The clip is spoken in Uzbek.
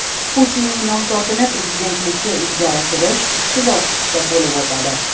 Putinning nomzodini prezidentlikka ilgari surish ikki bosqichda bo‘lib o‘tadi.